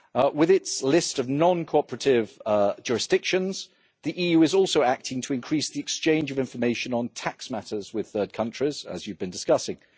With its list of non cooperative jurisdictions, the EU is also acting to increase the exchange of information on tax matters with third countries, as you have been discussing.